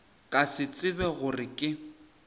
ka se tsebe gore ke